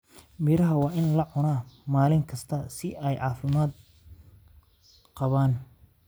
Miraha waa in la cunaa maalin kasta si ay u caafimaad qabaan.